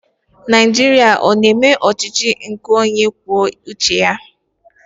Nigeria ọ na eme ọchịchị onye kwuo uche ya?